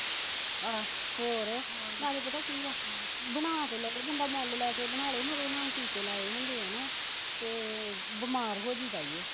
ਆਹ ਹੋਰ ਨਾਲੈ ਪਤਾ ਕੀ ਆ ਹਮ ਬਣਾ ਤੇ ਲਏ ਬੰਦਾ ਮੁੱਲ ਲੈ ਕੇ ਬਣਾਲੈ ਪਰ ਉਹਨਾਂ ਨੂੰ ਟੀਕੇ ਲਾਏ ਹੁੰਦੇ ਐ ਨਾ ਤੇ ਬਿਮਾਰ ਹੋਜੀਦਾ ਈ ਓ